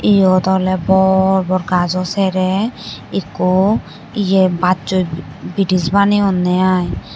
eyot oley bor bor gaj jo sere ikko ye baj soi bridge bani onne i.